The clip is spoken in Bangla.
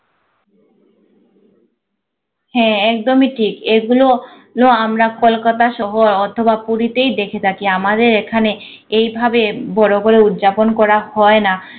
হ্যাঁ একদমই ঠিক এগুলো লো আমরা কলকাতা শহর অথবা পুরীতেই দেখে থাকি আমাদের এইখানে এইভাবে বড় বড় উদযাপন করা হয় না